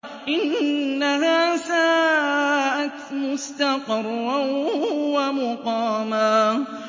إِنَّهَا سَاءَتْ مُسْتَقَرًّا وَمُقَامًا